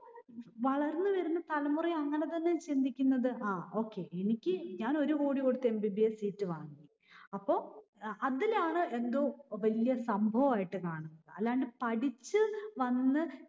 വളർന്ന് വരുന്ന തലമുറയും അങ്ങിനെതന്നെ ചിന്തിക്കുന്നത്. ആ okay. എനിക്ക്ഞാൻ ഒരു കോടി കൊടുത്തു MBBS seat വാങ്ങും. അപ്പൊ അഹ് അതിലാണ് എന്തോ വല്യ സംഭവമായിട്ട് കാണുന്നത്. അല്ലാണ്ട് പഠിച്ചു വന്ന്